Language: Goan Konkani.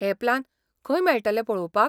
हे प्लान खंय मेळटले पळोवपाक?